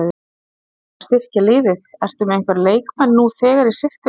Talandi um að styrkja liðið, ertu með einhverja leikmenn nú þegar í sigtinu?